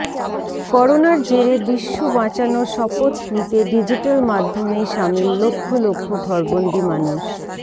করোনার জেরে বিশ্ব বাঁচানোর শপথ নিতে ডিজিট্যাল মাধ্যমেই সামিল লক্ষ লক্ষ ঘরবন্দি মানুষ